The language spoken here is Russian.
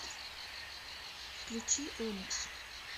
включи оникс